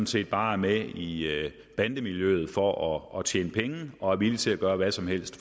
set bare er med i bandemiljøet for at tjene penge og er villige til at gøre hvad som helst